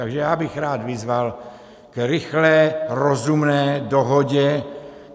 Takže já bych rád vyzval k rychlé rozumné dohodě.